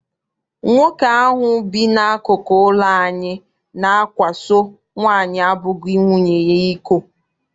Nwoke ahụ bi n'akụkụ ụlọ anyị na-akwaso nwaanyị abụghị nwunye ya iko.